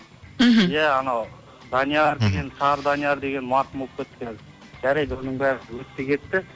мхм ия анау данияр деген сары данияр деген марқұм болып кетті қазір жарайды оның бәрі өтті кетті